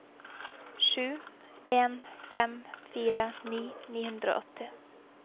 sju en fem fire nitti ni hundre og åtti